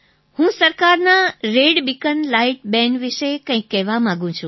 હું સરકારના red beacon light ban વિશે કંઈક કહેવા માગું છું